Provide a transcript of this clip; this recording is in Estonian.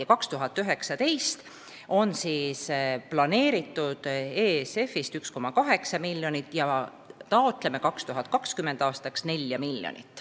Aastaks 2019 on plaanitud ESF-ist saada 1,8 miljonit ja 2020. aastaks taotleme 4 miljonit.